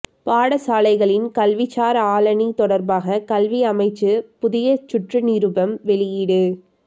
பாடசாலைகளின் கல்விசார் ஆளணி தொடர்பாக கல்வி அமைச்சு புதிய சுற்றுநிருபம் வெளியீடு